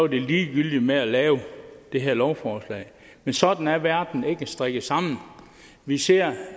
det ligegyldigt med at lave det her lovforslag men sådan er verden ikke strikket sammen vi ser